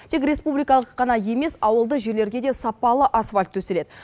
тек республикалық қана емес ауылды жерлерге де сапалы асфальт төселеді